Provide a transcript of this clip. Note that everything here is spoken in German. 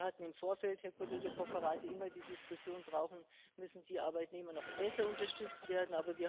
Wir hatten im Vorfeld, Herr Kollege Cofferati, immer die Diskussion Müssen die Arbeitnehmer noch besser unterstützt werden?